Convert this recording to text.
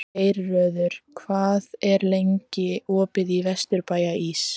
Geirröður, hvað er lengi opið í Vesturbæjarís?